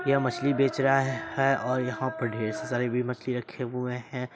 यह मछली बेच रहा है और यहाँ पे ढेर सारे भी मछली रखे हुए है।